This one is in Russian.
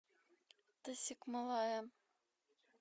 тасикмалая